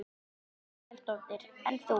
Þórhildur Þorkelsdóttir: En þú?